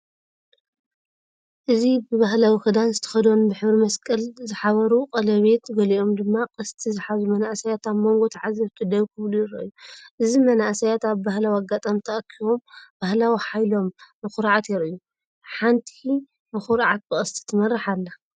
እዚ ብባህላዊ ክዳን ዝተኸድኑ፡ ብሕብሪ መስቀል ዝሕብሩ ቀለቤት፡ ገሊኦም ድማ ቀስቲ ዝሓዙ መንእሰያት፡ ኣብ መንጎ ተዓዘብቲ ደው ክብሉ ይረኣዩ። እዚ መንእሰያት ኣብ ባህላዊ ኣጋጣሚ ተኣኪቦም ባህላዊ ሓይሎም ብኹርዓት የርእዩ፤ ሓንቲ ብኹርዓት ብቐስቲ ትመርሕ ኣላ።